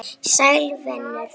Sæll venur!